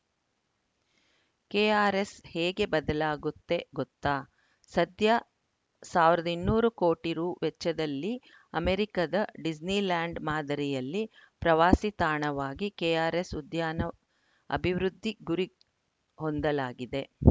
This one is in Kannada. ಕೆಆರ್‌ಎಸ್‌ ಹೇಗೆ ಬದಲಾಗುತ್ತೆ ಗೊತ್ತಾ ಸದ್ಯ ಸಾವಿರದ ಇನ್ನೂರು ಕೋಟಿ ರು ವೆಚ್ಚದಲ್ಲಿ ಅಮೆರಿಕದ ಡಿಸ್ನಿಲ್ಯಾಂಡ್‌ ಮಾದರಿಯಲ್ಲಿ ಪ್ರವಾಸಿ ತಾಣವಾಗಿ ಕೆಆರ್‌ಎಸ್‌ ಉದ್ಯಾನ ಅಭಿವೃದ್ಧಿ ಗುರಿ ಹೊಂದಲಾಗಿದೆ